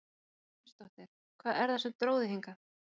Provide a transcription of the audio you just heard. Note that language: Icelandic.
Erla Hlynsdóttir: Hvað er það sem að dró þig hingað?